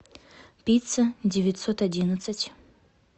пицца девятьсот одиннадцать